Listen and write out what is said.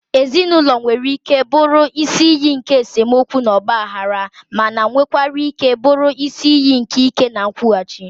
Ezinụlọ nwere ike bụrụ isi iyi nke esemokwu na ọgbaghara, mana nwekwara ike bụrụ isi iyi nke ike na nkwụghachi.